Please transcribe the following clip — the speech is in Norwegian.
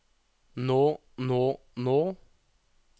nå nå nå